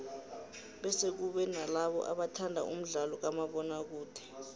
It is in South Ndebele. bese kube nalabo abathanda umdlalo kamabona kude